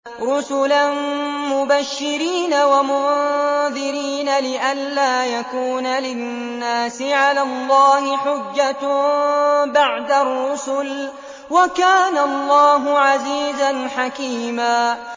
رُّسُلًا مُّبَشِّرِينَ وَمُنذِرِينَ لِئَلَّا يَكُونَ لِلنَّاسِ عَلَى اللَّهِ حُجَّةٌ بَعْدَ الرُّسُلِ ۚ وَكَانَ اللَّهُ عَزِيزًا حَكِيمًا